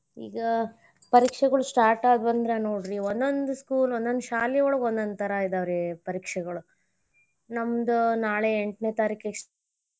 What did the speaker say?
ಈಗ ಪರೀಕ್ಷೆಗಳ್ start ಆದ್ವಂದ್ರ ನೋಡ್ರಿ ಒಂದೊಂದ್ school ಒಂದೊಂದ್ ಶಾಲಿಯೊಳಗ್ ಒಂದೊಂದ್ ತರಾ ಇದಾವ ರೀ ಪರೀಕ್ಷೆಗಳ್ ನಮ್ಮದ್ ನಾಳೆ ಎಂಟನೇ ತಾರಿಕೆಗ.